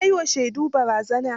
Ya yi wa shaidun barazana.